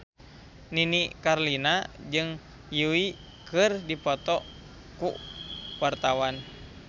Nini Carlina jeung Yui keur dipoto ku wartawan